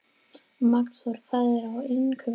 Magnþóra, hvað er á innkaupalistanum mínum?